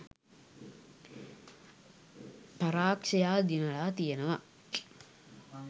පරාක්ෂයා දිනලා තියෙනවා.